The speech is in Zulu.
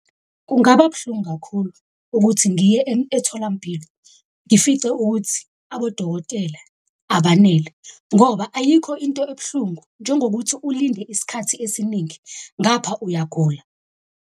Kungaba buhlungu kakhulu ukuthi ngiye etholampilo ngifice ukuthi abodokotela abanele, ngoba ayikho into ebuhlungu njengokuthi ulinde isikhathi esiningi ngapha uyagula.